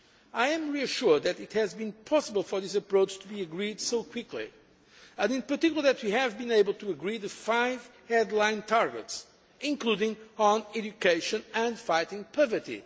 I am reassured that it has been possible for this approach to be agreed so quickly and, in particular, that we have been able to agree the five headline targets, including on education and fighting poverty.